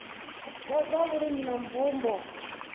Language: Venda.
wa zwa vhulimi na mvumbo